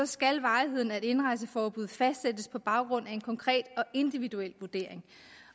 skal varigheden af et indrejseforbud fastsættes på baggrund af en konkret og individuel vurdering